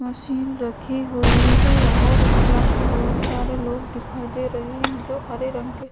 machine रखी हुई है और उसके बहुत सारे लोग दिखाई दे रहे है जो हरे रंग के --